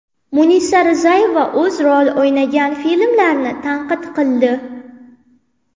Munisa Rizayeva o‘zi rol o‘ynagan filmlarni tanqid qildi.